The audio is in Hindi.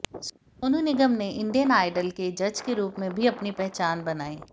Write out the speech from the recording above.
सोनू निगम ने इंडियन आइडल के जज के रूप में भी अपनी पहचान बनाई